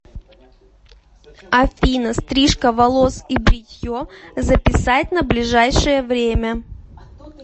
афина стрижка волос и бритье записать на ближайшее время